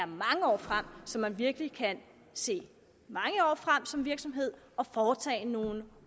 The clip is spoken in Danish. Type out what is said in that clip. mange år frem så man virkelig kan se mange år frem som virksomhed og foretage nogle